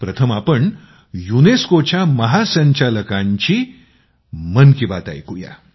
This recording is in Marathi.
प्रथम आपण युनेस्कोच्या महासंचालकांची मन की बात ऐकूया